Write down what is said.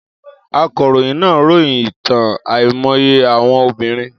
Akọ̀ròyìn náà ròyìn ìtàn àìmọye àwọn obìnrin.